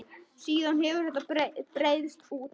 Síðan hefur þetta breiðst út.